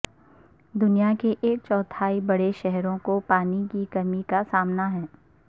دنیا کے ایک چوتھائی بڑے شہروں کو پانی کی کمی کا سامنا ہے